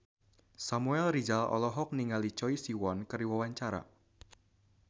Samuel Rizal olohok ningali Choi Siwon keur diwawancara